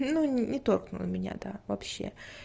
ну не торкнуло меня да вообще